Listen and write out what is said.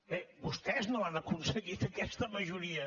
bé vostès no l’han aconseguit aquesta majoria